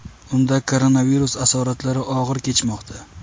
Unda koronavirus asoratlari og‘ir kechmoqda.